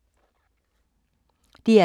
DR K